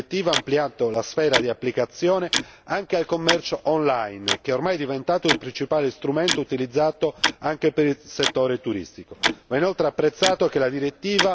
È stato importante attualizzare la direttiva, ampliando la sfera di applicazione anche al commercio online, che ormai è diventato il principale strumento utilizzato anche per il settore turistico.